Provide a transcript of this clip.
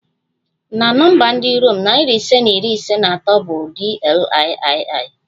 Na nọmba ndị Rom, narị ise na iri ise na atọ bụ DLIII